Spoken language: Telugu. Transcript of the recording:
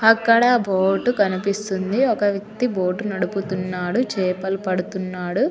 అక్క్కడ ఒక బోటు కనిపిస్తుంది అక్కడ ఒక అతను బోటు నడుపిస్తునాడు చాపల్లు పడుతునాడు